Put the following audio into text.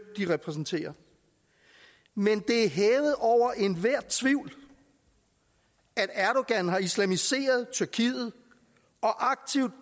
de repræsenterer men det er hævet over enhver tvivl at erdogan har islamiseret tyrkiet og aktivt